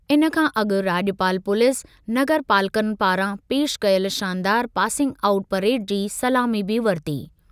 इन खां अॻु राॼपाल पुलिस नगरपालकनि पारां पेशि कयल शानदार पासिंग आउट परेड जी सलामी बि वरिती।